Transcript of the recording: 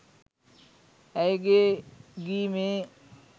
ඇයගේ ගී මේ